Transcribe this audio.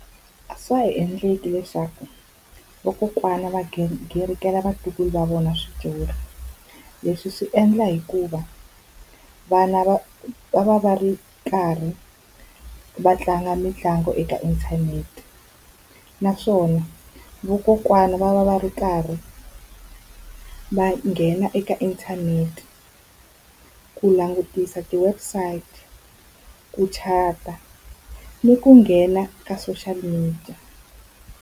A swa ha endleki leswaku vakokwana va garingela vatukulu va vona switori, leswi swi endla hikuva vana va va va va ri karhi va tlanga mitlangu eka inthanete. Naswona vokokwani va va va ri karhi va nghena eka inthanete ku langutisa ti-website, ku chat-a, ni ku nghena ka social media.